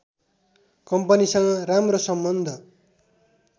कम्पनीसँग राम्रो सम्बन्ध